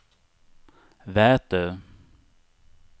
Vätö